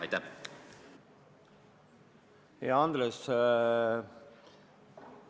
Hea Andres!